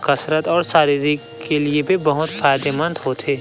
कसरत और शारीरिक के लिए भी बहोत फायदे मंद होथे।